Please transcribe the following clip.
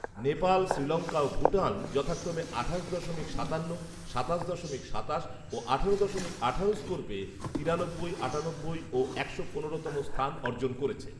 নেপাল, শ্রীলংকা ও ভুটান যথাক্রমে আঠাশ দশমিক সাতান্ন, সাতাশ দশমিক সাতাশ ও আঠারো দশমিক আঠারো স্কোর পেয়ে তিরানব্বই, আটানব্বই ও একশো পনেরো তম স্থান অর্জন করেছে